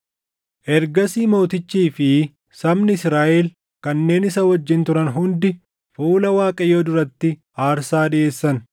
Ergasii mootichii fi sabni Israaʼel kanneen isa wajjin turan hundi fuula Waaqayyoo duratti aarsaa dhiʼeessan.